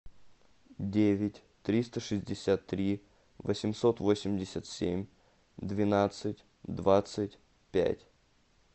девять триста шестьдесят три восемьсот восемьдесят семь двенадцать двадцать пять